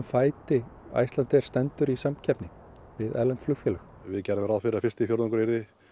fæti Icelandair stendur í samkeppni við erlend flugfélög við gerðum ráð fyrir að fyrsti fjórðungur yrði